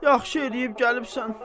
Yaxşı eləyib gəlibsən.